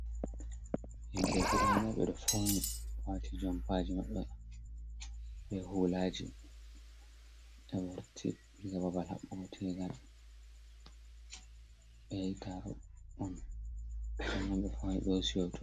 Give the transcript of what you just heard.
Himbe guda naí bé dó fauni wati jompaji mabɓe bé hulaji ɓewurti diga babal haɓbugo tegal. Ɓé yahi tarôh on ɓo bé fauni ɓo hosi hoto.